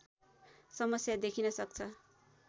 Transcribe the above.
समस्या देखिन सक्छ